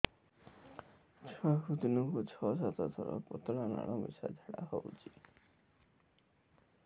ଛୁଆକୁ ଦିନକୁ ଛଅ ସାତ ଥର ପତଳା ନାଳ ମିଶା ଝାଡ଼ା ହଉଚି